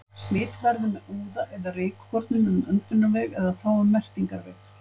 Fangavist lætur enga skynjun óskaddaða og gildismatið fer einna fyrst forgörðum.